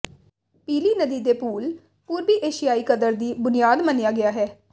ਪੀਲੀ ਨਦੀ ਦੇ ਪੂਲ ਪੂਰਬੀ ਏਸ਼ੀਆਈ ਕਦਰ ਦੀ ਬੁਨਿਆਦ ਮੰਨਿਆ ਗਿਆ ਹੈ